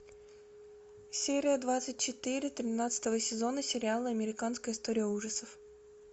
серия двадцать четыре тринадцатого сезона сериала американская история ужасов